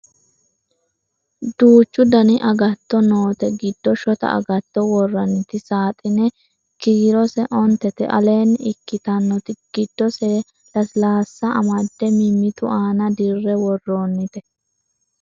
duuchu dani agtatto noote giddo shota agatto worranniti saaxine kkirose ontete aleenni ikkitannoti giddose lasilaassa amadde mimmitu aana dirre worroonnite